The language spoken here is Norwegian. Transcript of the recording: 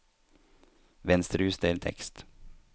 Venstrejuster tekst